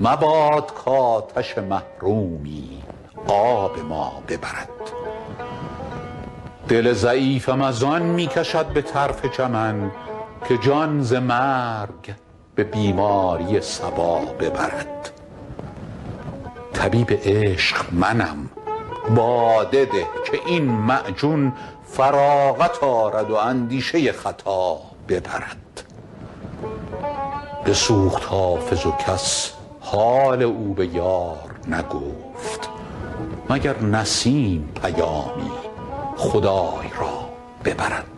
مباد کآتش محرومی آب ما ببرد دل ضعیفم از آن می کشد به طرف چمن که جان ز مرگ به بیماری صبا ببرد طبیب عشق منم باده ده که این معجون فراغت آرد و اندیشه خطا ببرد بسوخت حافظ و کس حال او به یار نگفت مگر نسیم پیامی خدای را ببرد